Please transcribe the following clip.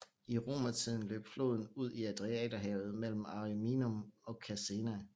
I romertiden løb floden ud i Adriaterhavet mellem Ariminum og Caesena